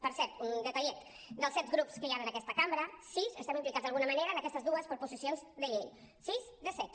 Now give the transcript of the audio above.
per cert un detallet dels set grups que hi han en aquesta cambra sis estem implicats d’alguna manera en aquestes dues proposicions de llei sis de set